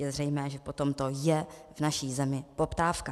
Je zřejmé, že po tomto je v naší zemi poptávka.